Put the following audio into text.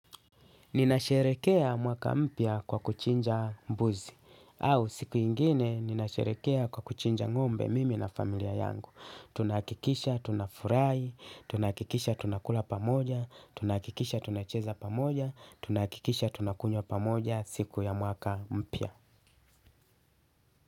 Ninasherehekea mwaka mpya kwa kuchinja mbuzi, au siku nyingine ninasherehekea kwa kuchinja ng'ombe mimi na familia yangu. Tunahakikisha, tunafurahi, tunahakikisha, tunakula pamoja, tunahakikisha, tunacheza pamoja, tunahakikisha, tunakunywa pamoja siku ya mwaka mpya.